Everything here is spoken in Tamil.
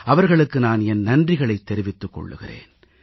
அவர்களுக்கு நான் என் நன்றிகளைத் தெரிவித்துக் கொள்கிறேன்